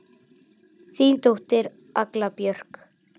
Þín dóttir, Agla Björk.